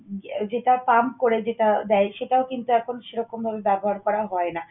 যেটা pump করে যেটা দেয় সেটাও কিন্তু এখন সেরকম ভাবে ব্যবহার করা হয় না।